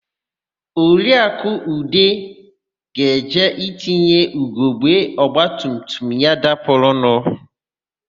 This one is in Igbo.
Oriakụ Ude ga-eje itinye ugogbe ọgbatumtum ya dapụrụnụ.